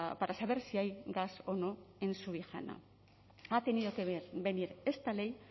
para saber si hay gas o no en subijana ha tenido que venir esta ley